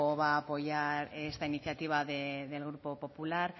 va a apoyar esta iniciativa del grupo popular